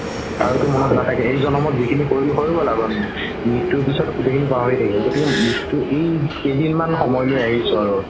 আৰু এই জনম যিখিনি কৰিলো হয় গ'ল আৰু মৃত্যুৰ পাছত গোতেইখিনি পাহৰি থাকিব গতিকে এই কেইদিন মান সময়লৈ আহিছো আৰু